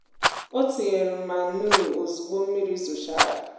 o tinyèrè mànuu òzugbo mmiri zòchàrà